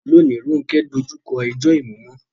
Lónìí, Ronke dojú kọ ẹjọ́ ìmúmọ́